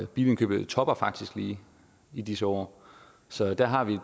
bilindkøbet topper faktisk lige i disse år så der har vi